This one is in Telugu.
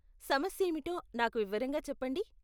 సమస్యేమిటో నాకు వివరంగా చెప్పండి.